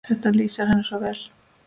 Þetta lýsir henni svo vel.